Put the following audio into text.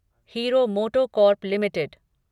hero MotoCorp limited